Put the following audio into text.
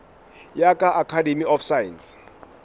ya ka academy of science